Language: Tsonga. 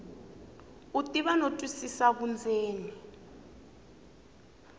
u tiva no twisisa vundzeni